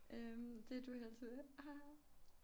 Øh det du helst vil haha